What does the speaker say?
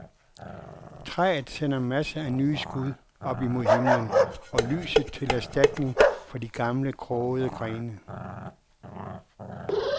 Træet sender masser af nye skud op imod himlen og lyset til erstatning for de gamle, krogede grene.